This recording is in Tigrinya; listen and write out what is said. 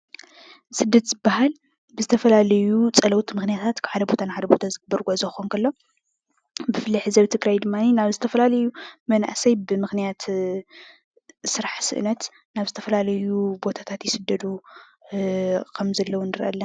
ስደት ዝበሃል ብዝተፈላለዩ ፀለውቲ ምኽንያት ካብ ሓደ ቦታ ናብ ሓደ ቦታ ዝግበር ጉዕዞ ክኸውን ከሎ፣ ብፍላይ ሕዚ ኣብ ትግራይ ድማኒ ናብ ዝተፈላላዩ መናእሰይ ብምኽንያት ስራሕ ስእነት ናብ ዝተፈላለዩ ቦታታት ይስደዱ ኸም ዘለው ንሪኢ ኣለና።